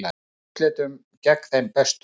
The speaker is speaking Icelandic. Í úrslitum gegn þeim bestu